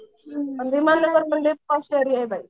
पण विमान नगर पण लई पॉश एरिया आहे बाई.